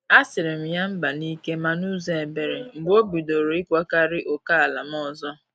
A sirm ya mba n’ike ma n’ụzọ ebere mgbe obidoro ikwagari ókèala m ọzọ.